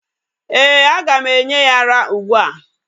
Eeh, aga m enye ya ara ugbu a.